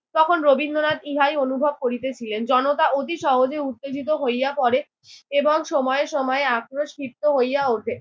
তখন রবীন্দ্রনাথ ইহাই অনুভব করিতেছিলেন। জনতা অতি সহজে উত্তেজিত হইয়া পরে এবং সময় সময় আক্রোশ ক্ষিপ্ত হইয়া উঠে।